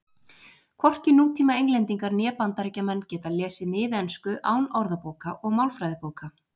Hvorki nútíma Englendingar né Bandaríkjamenn geta lesið miðensku án orðabóka og málfræðibóka.